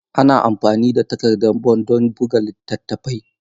Ana amfani da takardan bond don buga littattafai.